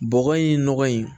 Bɔgɔ in nɔgɔ in